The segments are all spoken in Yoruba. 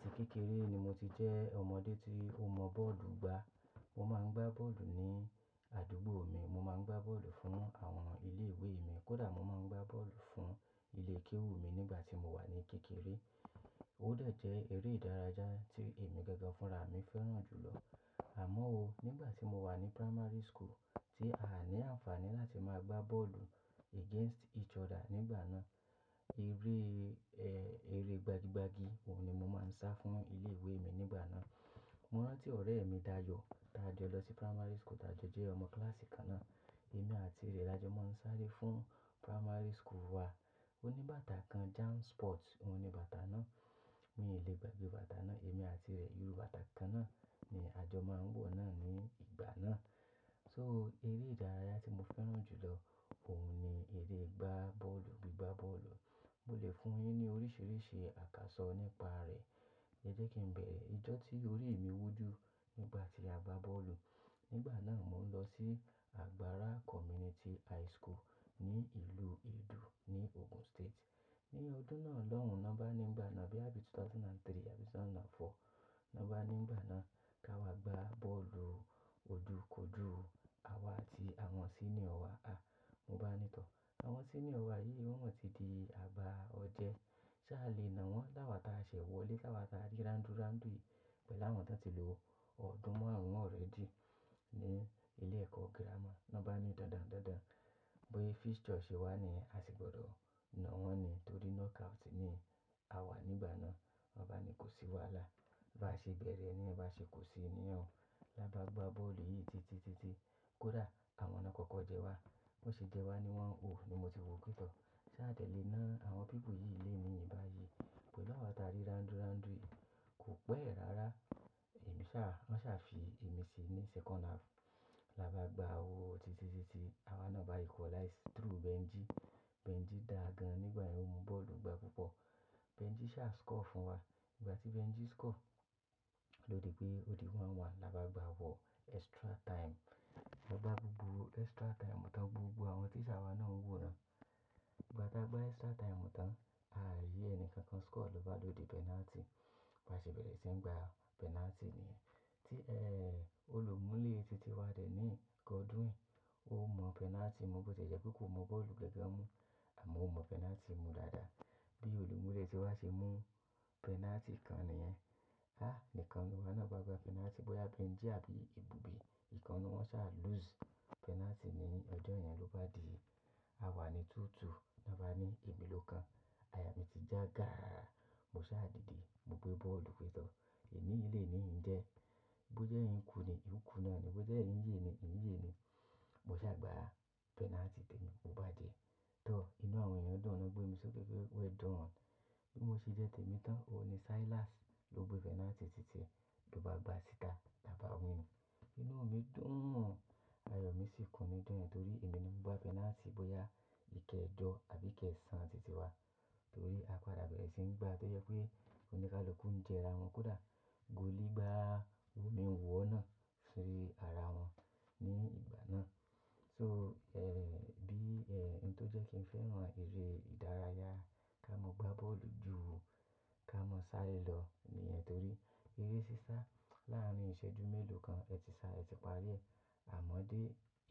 Àti kékeré ni mo ti jẹ́ ọmọdé tí ó mọ bọ́ọ̀lù gbá. Mo máa ń gbá bọ́ọ̀lù ní àdúgbò mi, mo máa ń gbá bọ́ọ̀lù fún àwọn ilé ìwé mi, kódà mo máa ń gbá bọ́ọ̀lù fún ilé kéwú mi nígbà tí mo wà ní kékeré. Ó dẹ̀ jẹ́ eré ìdárayá tí èmi gángan fúnra mi fẹ́ràn jù lọ. Àmọ́ ó, nígbà tí mo wà ní primary school tí áàní àǹfààní láti máa gbá bọ́ọ̀lù against each other nígbà náà. Eré, ẹ, eré gbagi gbagi, òun ni mo máa ń sá fún ilé ìwé mi nígbà náà. Mo rántí ọ̀rẹ́ mi Dayọ̀, tá jọ lọ sí primary school, tá jọ jẹ́ ọmọ kíláàsì kan náà. Èmi àti rẹ̀ la jọ máa ń sáré fún primary school wa. Ó ní bàtà kan, jam sport, òhun ni bàtà náà. Mi ò le gbàgbé bàtà náà. Èmi àti rẹ̀ irú bàtà kan náà ni a jọ máa ń wọ̀ náà ní ìgbà náà. So eré ìdárayá tí mo fẹ́ràn jù lọ òun ni eré gbá bọ́ọ̀lù, gbígbá bọ́ọ̀lù. Mo lè fún yín ní oríṣiríṣi àkàsọ̀ nípa rẹ̀. Ẹ jẹ́ kí n bẹ̀rẹ̀. Ìjọ́ tí orí mi wú ju nígbà tí a gbá bọ́ọ̀lù. Nígbà náà mò ń lọ sí Àgbárá Community High School ní ìlú Ìdú ní Ogun State. Ní ọdún náà lọ́hùn, n'ọ́bá nígbà náà bí i á sì 2003 àbí 2004, n'ọ́bá nígbà náà ká wa gbá bọ́ọ̀lù ojúkòju, àwa àti àwọn senior wa. A, mo bá ní tọ̀, àwọn senior wa yìí wọ́n ò tí di àbá ọdẹ. Ṣá le nà wọ́n láwà ta ṣẹ̀wọ̀lé, láwà ta rí ráńdú ráńdú yí, pẹ̀lú àwọn tó ti lò ó. Ọdún mọ́ àwọn ọ̀rẹ́ mi ní ilé ẹ̀kọ́ grammar. N'ọ́bá ní dàǹdàǹ dàǹdàǹ, bóyá fixture ṣe wà ni a sì gbọdọ̀ nà wọ́n ni torí knockout ni àwa nígbà náà. Wọn bá ní kó sí wàhálà. Báa ṣe bẹ̀rẹ̀ nìyẹn, báa ṣe kó sí nìyẹn. Lá bá gbá bọ́ọ̀lù yìí titi titi, kódà àwọn náà kọ́kọ́ jẹ wá. Wọ́n sì jẹ wá ni wọ́n ò, ni mo si wù pí tọ́. Ṣá dẹ̀lé nàa àwọn pípù yìí léèní yii báyi. Pẹ̀lú àwa ta rí randu randu yii, kò pẹ́ rárá. Ẹ̀mí sá, wọ́n sá fi ẹ̀mí sí ní second half. Lá bá gbá o titi titi, àwa náà bá equalize through Benji. Benji dàa gan nígbà yẹn, òun mọ bọ́ọ̀lù gbá púpọ̀. Benji sá score fún wa. Nígbà tí Benji score, lódi pé ó di 1-1. Lá bá gbá wọ extra time. Lọ bá gbógbó extra time tán gbogbo àwọn teacher wa náà ń wòran. Ígbà tá gbá extra time tán, a à ri ẹni kankan score lọ́ bá duro de penalty. Bi won ṣe bẹ̀rẹ̀ sí ngbá penalty nìyẹn. Tí ẹ, olùmúlẹ̀ titi wá deniyi, gódwín. O mo penalty mu, bo ti e je pe ko mo boolu gangan mu, amo o mo penalty mu daadaa. Bí olùmúlẹ̀ ti wá ṣe mú penalty kan nìyẹn. Há! Nnkan nuwon náà ba gbá penalty bóyá Benji àbí ibùbí. Nkan nuwọ́n sa lose penalty ni ọjọ́ yẹn ló bá di àwa ni 2-2. Ni won ba ní ẹmi ló kan. Àyà mi ti já gàrara. Mo sá dìde, mo gbé bọ́ọ̀lù fẹ́tọ̀. Eniyii leni yii njee Bóje in kú ni, in ku náà ni. Bóje in ye ni, in ye ni. Mo sá gbá penalty tèmi, o ba je. Tọ̀, inú àwọn ènìyàn dùn, wọ́n gbé mi sókè pé well done. Bí mo ṣe jẹ́ tèmi tán, òun ni Silas ló gbé penalty títíe, lo bá gbá síta, la bá wín. Inu mii dùn. Àyò mi sì kùn ní ijo yen torí èmi ni mo gbá penalty bóyá ìkẹjọ́ àbí ìkẹ̀san títí wá. Torí a padà bẹ̀rẹ̀ sí í gbá tó jẹ pé oníkálùkù ń jera wọn, kódà goalie gbá wo mí n wò ó náà sí ara wọn ní ìgbà náà. So, ẹ, bí, ẹ, ohun tó jẹ́ kí n fẹ́ràn eré ìdárayá ká mọ gbá bọ́ọ̀lù jù ká mọ sáré lọ nìyẹn torí ere sìsá láàárín ìṣẹ́jú mélòó kan, ẹ ti sá, ẹ ti parí ẹ̀. Àmọ́ dé,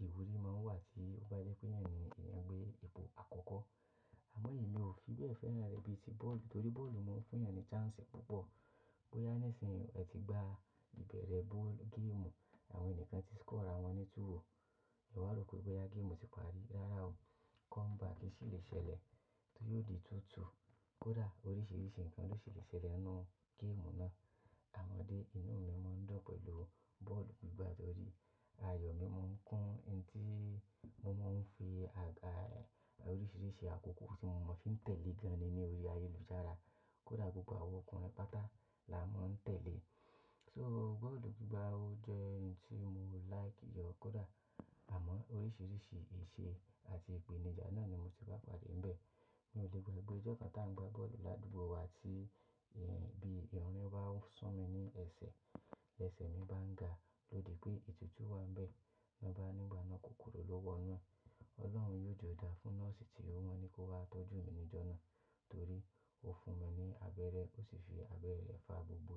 ìwúrí máa ń wà tí ó bá jẹ́ pé eyan ni eyan gbé ipò àkọ́kọ́. Amo emi o fibe feran re bii ti boolu, tori boolu maa n funyan ni chance pupo. Bóyá nísinsìnyí ẹ ti gbá ìbẹ̀rẹ̀ ball game, àwọn ènikan ti score ara wọn ni 2-0. O wa ropé bóyá game tí parí rárá o, comeback sì lè ṣẹlẹ̀ tí yóò di 2-2. Kódà oríṣiríṣi nǹkan ló ṣì lè ṣẹlẹ̀ nínú game náà. Àmọ́ dé inú mi máa ń dùn pẹ̀lú bọ́ọ̀lù gbígbá torí àyò mi máa ń kún ihun tí mo máa ń fi aga, oríṣiríṣi àkókò tí mo mọ̀ fi ń tẹ̀lé gan ni ní orí ayélujára. Kódà gbogbo àwọn ọkùnrin patá la máa ń tẹ̀lé. So bọ́ọ̀lù gbígbá ó jẹ́ ohun tí mo like gan. Kódà àmọ́ oríṣiríṣi isè àti ìpèníjà náà ni mo ti bá padà níbẹ̀. Mi ò lè gbagbe ijọ́ kan tá ń gbá bọ́ọ̀lù ládùúgbò wa tí, ẹ́, bí rìn bá san mí ní ẹsẹ̀, ẹsẹ̀ mi bá ń ga lódi pé ètùtù wà níbẹ̀. Ni won bani nigbana kokoro lo wonu e Ọlọ́run yio je da fún nọ́ọ̀sì tí wọ́n ní kó wá tọ́jú mi níjọ́ náà torí ó fún mi ní abẹ́rẹ́, ó sì fi abẹ́rẹ́ rẹ̀ fà gbogbo.